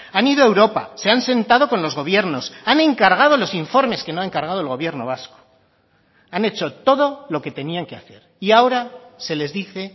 han ido a europa se han sentado con los gobiernos han encargado los informes que no ha encargado el gobierno vasco han hecho todo lo que tenían que hacer y ahora se les dice